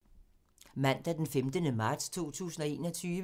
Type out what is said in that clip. Mandag d. 15. marts 2021